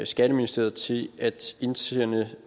skatteministeriet til at indsende